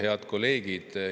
Head kolleegid!